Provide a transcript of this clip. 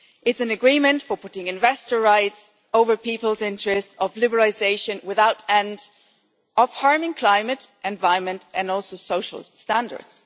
It is an agreement for putting investor rights over people's interests, for liberalisation without end, and for harming the climate, the environment and also social standards.